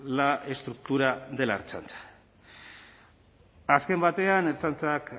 la estructura de la ertzaintza azken batean ertzaintzak